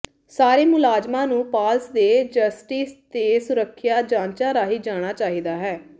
ਸਾਰੇ ਮੁਲਾਜ਼ਮਾਂ ਨੂੰ ਪਾਲਸ ਦੇ ਜਸਟਿਸ ਦੇ ਸੁਰੱਖਿਆ ਜਾਂਚਾਂ ਰਾਹੀਂ ਜਾਣਾ ਚਾਹੀਦਾ ਹੈ